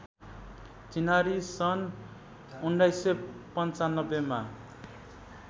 चिनारी सन् १९९५ मा